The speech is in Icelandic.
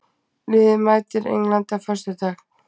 Liðið mætir Englandi á föstudag.